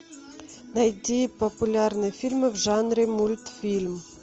найти популярные фильмы в жанре мультфильм